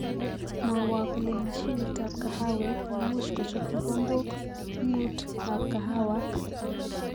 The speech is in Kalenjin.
Mwowo kole mashinitab kahawek ne much kochop kikombok mutu ab kahawak